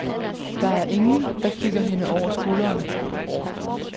Der er ingen, der kigger hende over skulderen.